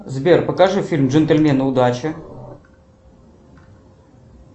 сбер покажи фильм джентельмены удачи